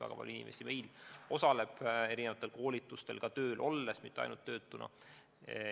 Väga palju inimesi osaleb erinevatel koolitustel ka tööl olles, mitte ainult töötuna.